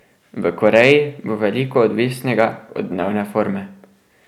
V Koreji bo veliko odvisnega od dnevne forme.